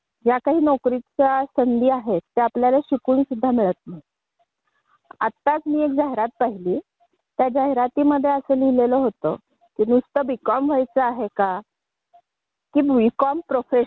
तर यामध्ये आपल्याला अशा नोकरीच्या संधी शोधल्या पाहिजे की जेणेकरून त्याच्यामध्ये आपल्याला